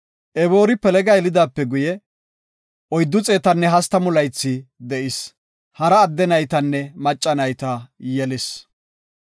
Eboori Pelega yelidaape guye, 430 laythi de7is. Hara adde naytanne macca nayta yelis.